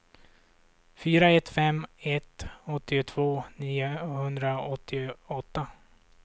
fyra ett fem ett åttiotvå niohundraåttioåtta